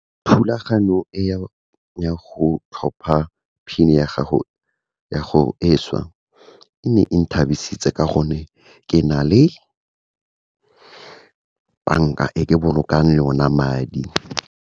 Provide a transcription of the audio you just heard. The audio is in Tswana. Thulaganyo e ya go tlhopha PIN ya gago, e šwa, e ne eng thabisitse ka gonne, ke na le banka e ke bolokang le ona madi.